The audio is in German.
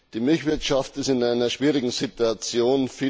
Die Milchwirtschaft ist in einer schwierigen Situation.